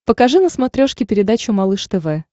покажи на смотрешке передачу малыш тв